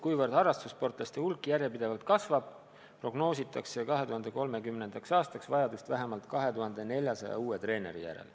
Kuna harrastussportlaste hulk järjepidevalt kasvab, prognoositakse, et 2030. aastaks läheb vaja vähemalt 2400 uut treenerit.